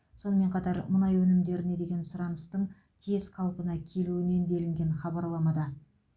сонымен қатар мұнай өнімдеріне деген сұраныстың тез қалпына келуінен делінген хабарламада